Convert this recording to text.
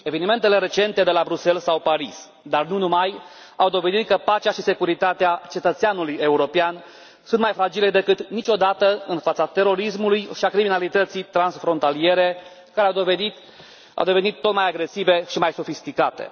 Evenimentele recente de la Bruxelles sau Paris, dar nu numai, au dovedit că pacea și securitatea cetățeanului european sunt mai fragile decât niciodată în fața terorismului și a criminalității transfrontaliere, care au devenit tot mai agresive și mai sofisticate.